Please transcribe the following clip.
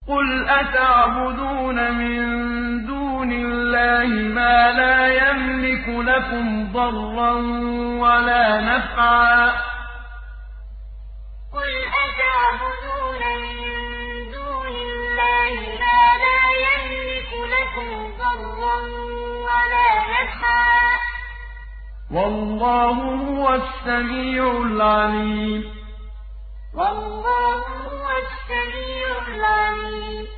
قُلْ أَتَعْبُدُونَ مِن دُونِ اللَّهِ مَا لَا يَمْلِكُ لَكُمْ ضَرًّا وَلَا نَفْعًا ۚ وَاللَّهُ هُوَ السَّمِيعُ الْعَلِيمُ قُلْ أَتَعْبُدُونَ مِن دُونِ اللَّهِ مَا لَا يَمْلِكُ لَكُمْ ضَرًّا وَلَا نَفْعًا ۚ وَاللَّهُ هُوَ السَّمِيعُ الْعَلِيمُ